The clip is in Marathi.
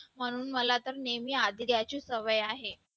म्हणून मला तर नेहमी आधी घ्यायची सवय आहे.